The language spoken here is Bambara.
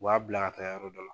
U b'a bila ka taa yɔrɔ dɔ la.